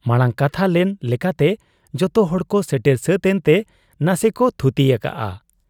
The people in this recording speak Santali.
ᱢᱟᱬᱟᱝ ᱠᱟᱛᱷᱟ ᱞᱮᱱ ᱞᱮᱠᱟᱛᱮ ᱡᱚᱛᱚᱦᱚᱲ ᱠᱚ ᱥᱮᱴᱮᱨ ᱥᱟᱹᱛ ᱮᱱᱛᱮ ᱱᱟᱥᱮᱠᱚ ᱛᱷᱩᱛᱤ ᱟᱠᱟᱜ ᱟ ᱾